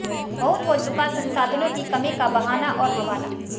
बहुत हो चुका संसाधनों की कमी का बहाना और हवाला